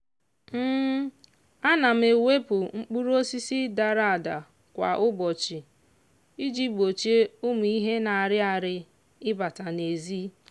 ana m ewepụ mkpụrụ osisi dara ada kwa ụbọchị iji gbochie ụmụ ihe na-arị arị ịbata n'ezi.